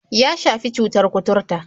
Ya shafi cutar kuturta.